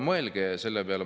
Mõelge selle peale!